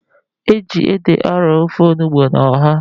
E ji ede arọ ofe onugbu na ọha.